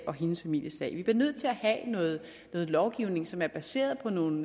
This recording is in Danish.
og hendes families sag vi bliver nødt til at have noget lovgivning som er baseret på nogle